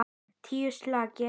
Tíu slagir.